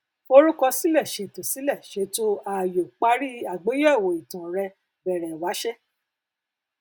forúkọ sílè ṣètò sílè ṣètò ààyò parí àgbéyẹwò ìtàn rẹ bẹrẹ wáṣé